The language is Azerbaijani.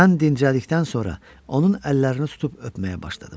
Mən dincəlikdən sonra onun əllərini tutub öpməyə başladım.